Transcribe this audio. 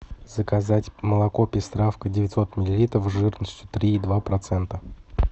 заказать молоко пестравка девятьсот миллилитров жирностью три и два процента